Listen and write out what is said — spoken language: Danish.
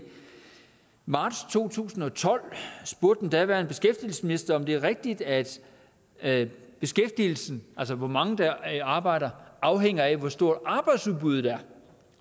marts to tusind og tolv spurgte den daværende beskæftigelsesminister om det er rigtigt at at beskæftigelsen altså hvor mange der arbejder afhænger af hvor stort arbejdsudbuddet er